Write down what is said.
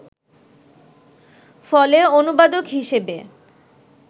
ফলে অনুবাদক হিসেবে